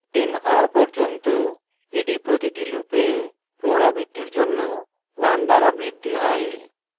10 হওয়া পর্যন্ত এটি প্রতিটি লুপের পুনরাবৃত্তির জন্য 1 দ্বারা বৃদ্ধি হয়